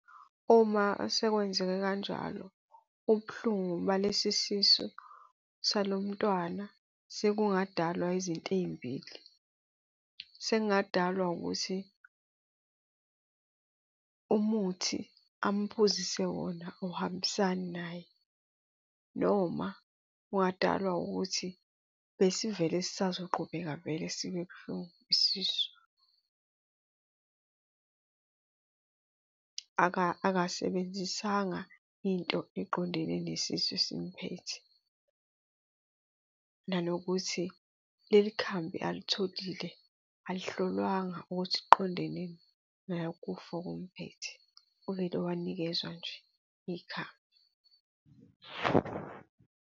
Uma sekwenzeke kanjalo ubuhlungu balesisu salo mntwana, sekungadalwa izinto ey'mbili. Sekungadalwa ukuthi umuthi amphuzise wona awuhambisani naye, noma kungadalwa ukuthi besivele sisazoqhubeka vele sibe buhlungu isisu. Akasebenzisanga into eqondene nesisu esimphethe, nanokuthi leli khambi alitholile, alihlolwanga ukuthi liqonde nalokufa okumphethe. Uvele wanikezwa nje ikhambi.